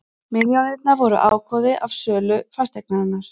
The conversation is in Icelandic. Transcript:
Milljónirnar voru ágóði af sölu fasteignar